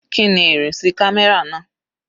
Kíni ìrìnsí camera náà?